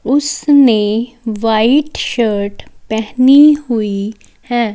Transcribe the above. उसने white shirt पहनी हुई है।